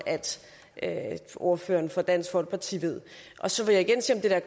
at ordføreren for dansk folkeparti ved så vil jeg